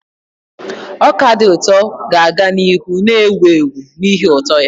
Ọka dị ụtọ ga-aga n'ihu na-ewu ewu n'ihi ụtọ ya.